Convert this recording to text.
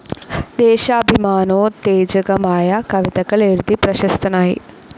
ദേശാഭിമാനോത്തേജകമായ കവിതകൾ എഴുതി പ്രശസ്തനായി.